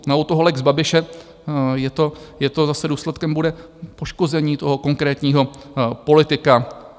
No u toho lex Babiše je to - zase důsledkem bude poškození toho konkrétního politika.